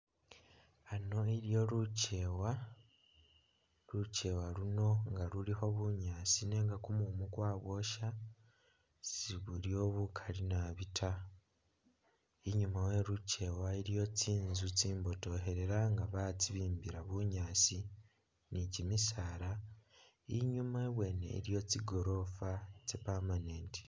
Aano iliwo luchewa, luchewa luno nga lulikho bunyaasi nenga kumumu kwaboosha sibuliwo bukali naabi ta inyuma weluchewa iliwo tsinzu tsimbotokhelela nga batsibimbila bunyaasi ni kimisaala inyuma ibwene iliyo tsigoroofa tsya permanent